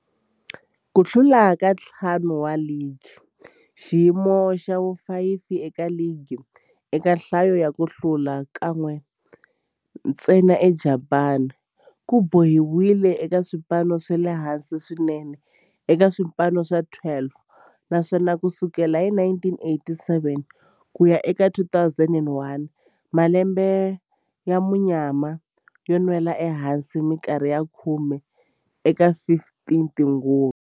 Ku hlula ka ntlhanu wa ligi, xiyimo xa vu-5 eka ligi eka nhlayo ya ku hlula, kan'we ntsena eJapani, ku boheleriwile eka swipano swa le hansi swinene eka swipano swa 12, naswona ku sukela hi 1987 ku ya eka 2001, malembe ya munyama yo nwela ehansi minkarhi ya khume eka 15 tinguva.